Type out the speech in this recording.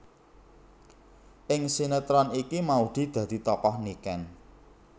Ing sinetron iki Maudy dadi tokoh Niken